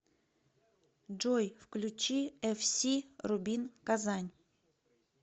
джой включи эф си рубин казань